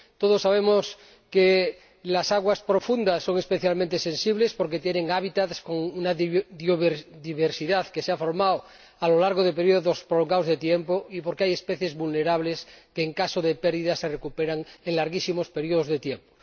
Todos sabemos que las aguas profundas son especialmente sensibles porque tienen hábitats con una biodiversidad que se ha formado a lo largo de períodos prolongados de tiempo y porque hay especies vulnerables que, en caso de pérdidas, se recuperan en larguísimos períodos de tiempo.